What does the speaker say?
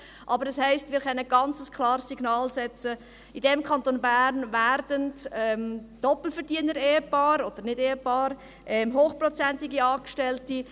Aber das heisst, wir können ein ganz klares Signal aussenden im Kanton Bern für Doppelverdienerehepaare und -nichtehepaare, für hochprozentige Angestellte.